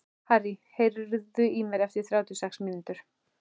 Harrý, heyrðu í mér eftir þrjátíu og sex mínútur.